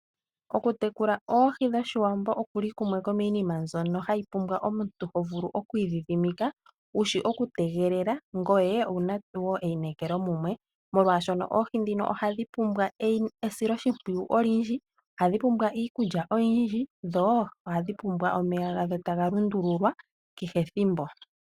Okutekula oohi dhOshiwambo okuli kumwe koomiinima mbyono hayi pumbwa omuntu ho vulu okwiidhidhimika wushi oku tegelela ngoye owuna einekelo mumwe molwaashono oohi dhino ohadhi pumbwa esiloshimpwiyu olindji, ohadhi pumbwa iikulya oyindji dho ohadhi pumbwa omeya gadho taga lundululwa kehe ethimbo.